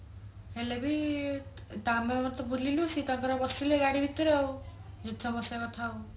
ହେଲେବି ଆମେ ତ ବୁଲିଲୁ ସିଏ ତାଙ୍କର ବସିଲେ ଗାଡି ଭିତରେ ଆଉ ବସିବା କଥା ଆଉ